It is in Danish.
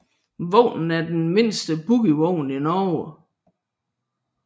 Vognen er den mindste bogievogn i Norge